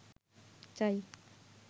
চাই